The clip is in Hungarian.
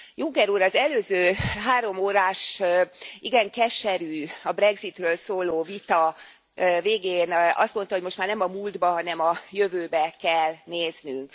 Juncker úr az előző háromórás, igen keserű, a brexitről szóló vita végén azt mondta, hogy most már nem a múltba, hanem a jövőbe kell néznünk.